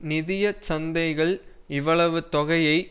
நிதிய சந்தைகள் இவ்வளவு தொகையை